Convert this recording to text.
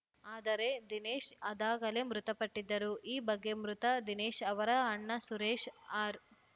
ಆದರೆ ದಿನೇಶ್‌ ಅದಾಗಲೇ ಮೃತಪಟ್ಟಿದ್ದರು ಈ ಬಗ್ಗೆ ಮೃತ ದಿನೇಶ್‌ ಅವರ ಅಣ್ಣ ಸುರೇಶ್‌ ಆರ್‌